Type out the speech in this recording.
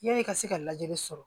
Yanni i ka se ka lajɛli sɔrɔ